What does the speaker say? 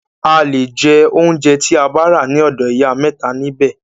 A le jẹ óunjẹ tí a bá rà ní ọ̀dọ̀ ìyá mẹ́ta nibẹ̀.